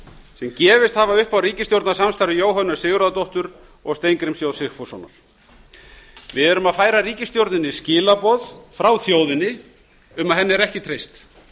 sem gefist hafa upp á ríkisstjórnarsamstarfi jóhönnu sigurðardóttur og steingríms j sigfússonar við erum að færa ríkisstjórninni skilaboð frá þjóðinni um að henni er ekki treyst